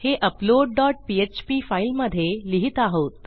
हे upload dot PHP फाईलमधे लिहित आहोत